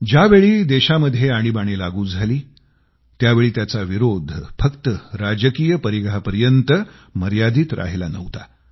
ज्यावेळी देशामध्ये आणीबाणी लागू झाली त्यावेळी त्याचा विरोध फक्त राजकीय परिघापर्यंत मर्यादित राहिला नव्हता